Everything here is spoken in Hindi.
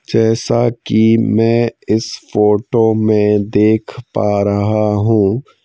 जैसा कि मैं इस फोटो में देख पा रहा हूँ।